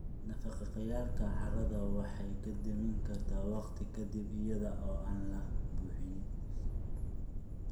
Nafaqeeyayaalka carrada waxaa la dhimi karaa waqti ka dib iyada oo aan la buuxin.